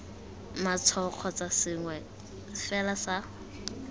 matshwao kgotsa sengwe fela sa